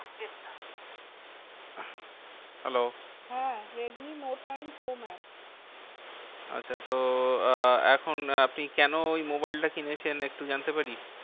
Hello হ্যাঁ Redmi note nine pro max আচ্ছা তো আহ এখন আপনি কেন ওই মোবাইলটা কিনেছেন? একটু জানতে পারি?